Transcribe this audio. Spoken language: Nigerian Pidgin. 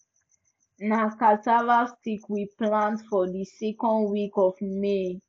na cassava stick we plant for di second week of may